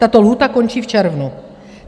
Tato lhůta končí v červnu.